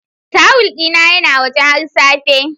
Towel dina yana waje har safe.